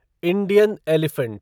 Indian elephant